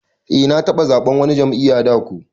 Eh na taba zaɓen wani jam'iyya da ko.